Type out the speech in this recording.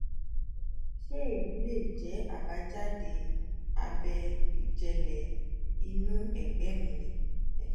ṣé èyí lè jẹ́ àbájáde abẹ́ ìjẹ́lẹ̀ inú ẹ̀gbẹ́ mi ni? ẹ se